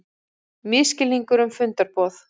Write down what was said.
Misskilningur um fundarboð